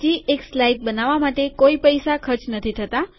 હજી એક સ્લાઇડ બનાવવા માટે કોઈ પૈસા ખર્ચ નથી થતા